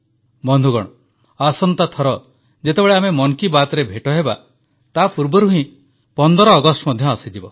ବନ୍ଧୁଗଣ ଆସନ୍ତା ଥର ଯେତେବେଳେ ଆମେ ମନ କି ବାତ୍ରେ ଭେଟ ହେବା ତାପୂର୍ବରୁ ହିଁ 15 ଅଗଷ୍ଟ ଆସିଯିବ